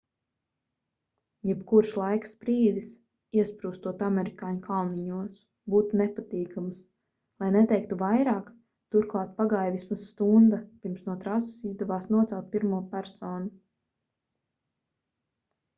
jebkurš laika sprīdis iesprūstot amerikāņu kalniņos būtu nepatīkams lai neteiktu vairāk turklāt pagāja vismaz stunda pirms no trases izdevās nocelt pirmo personu